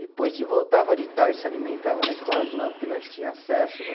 Depois de voltava de tarde, se alimentava na escola de novo, porque nós tinha acesso, né?